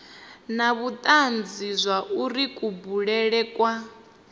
na vhutanzi zwauri kubulele kwa